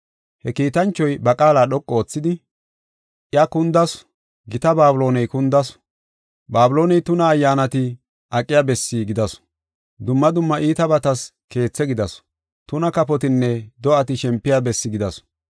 He kiitanchoy ba qaala dhoqu oothidi, “Iya kundasu! Gita Babilooney kundasu! Babilooney tuna ayyaanati aqiya bessi gidasu. Dumma dumma iitabatas keethe gidasu; tuna kafotinne do7ati shempiya bessi gidasu.